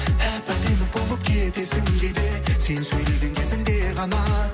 әп әдемі болып кетесің кейде сен сөйлеген кезіңде ғана